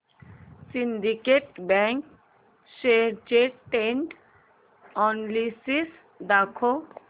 Syndicate bank shares चे trend analysis दाखव